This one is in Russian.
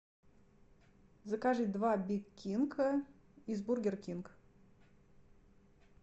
закажи два биг кинга из бургер кинг